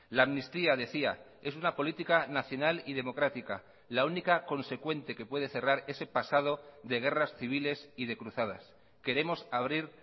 la amnistía decía es una política nacional y democrática la única consecuente que puede cerrar ese pasado de guerras civiles y de cruzadas queremos abrir